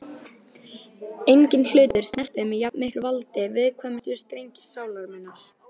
Enginn hlutur snertir með jafnmiklu valdi viðkvæmustu strengi sálar minnar.